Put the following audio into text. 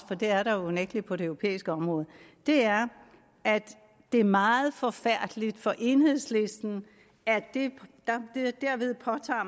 for det er der unægtelig på det europæiske område er at det er meget forfærdeligt for enhedslisten at